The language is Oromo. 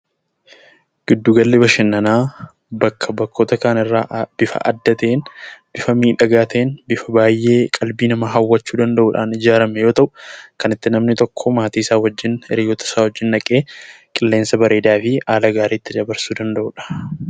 Giddu gala bashannanaa bakkoota kaan irraa bifa adda ta'een, bifa miidhagaa ta'een, bifa qalbii namaa hawwachuu danda'uun ijaarame yoo ta'u; kan itti namni tokko maatii isaa wajjiin, hiriyyoota isaa wajjiin deemee dawwachuu fi haala gaariin itti dabarsuu danda'uudha.